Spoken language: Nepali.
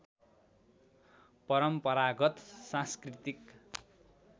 परम्परागत सांस्कृतिक